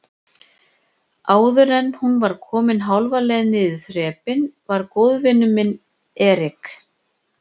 Áðuren hún var komin hálfa leið niður þrepin var góðvinur minn Erik